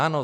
Ano.